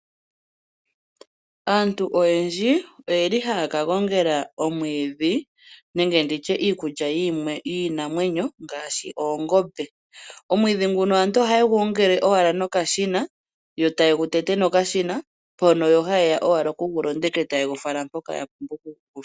Aantu oyendji oye li haya ka gongela omwiidhi nenge nditye iikulya yiinamwenyo ngaashi oongombe. Omwiidhi nguno aantu ohaye gu gongele owala nokashina, yo ta ye gu tete nokashina mpono yo haye ya owala oku gu londeka e ta ye gu fala mpoka ya pumbwa okugu fala.